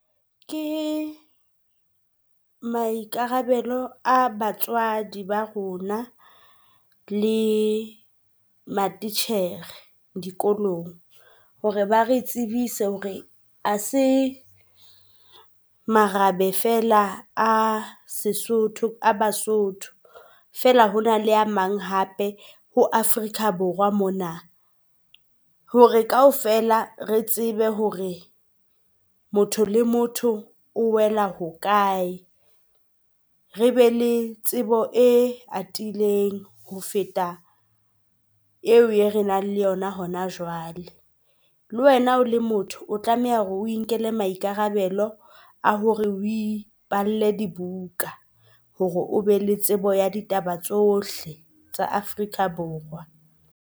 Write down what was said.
Ke maikarabelo a batswadi ba rona le matitjhere dikolong hore ba re tsebise hore ha se marabe fela a seSotho a baSotho. Fela hona le a mang hape ho Afrika Borwa mona hore kaofela re tsebe hore motho le motho o wela hokae, re be le tsebo e atileng ho feta eo e re nang le yona hona jwale. Le wena o le motho o tlameha hore o inkele maikarabelo a hore o ipalle dibuka hore o be le tsebo ya ditaba tsohle tsa Afrika Borwa.